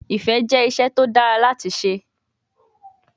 Ifẹ jẹ iṣẹ ti o dara lati ṣe